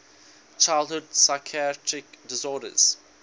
childhood psychiatric disorders